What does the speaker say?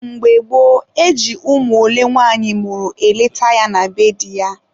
mgbe gboo, e ji ụmụ ole nwanyị mụrụ eleta ya na be di ya.